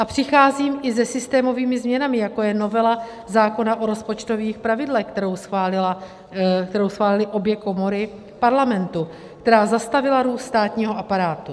A přicházím i se systémovými změnami, jako je novela zákona o rozpočtových pravidlech, kterou schválily obě komory Parlamentu, která zastavila růst státního aparátu.